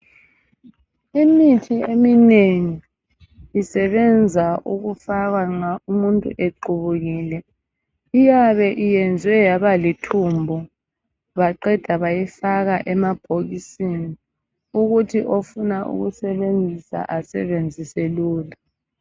Imithi eminengi isebenza ukufakwa umuntu equbukile iyabe iyeze yaba limthumbu baqeda bayifaka emabhokisini ukuthi ofuna ukuyi sebenzisa eyisenzise lula